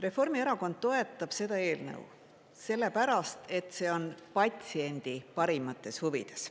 Reformierakond toetab seda eelnõu, sellepärast, et see on patsiendi parimates huvides.